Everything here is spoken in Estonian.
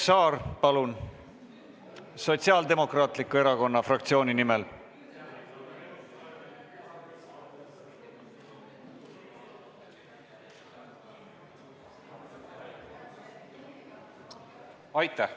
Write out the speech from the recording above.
Indrek Saar Sotsiaaldemokraatliku Erakonna fraktsiooni nimel, palun!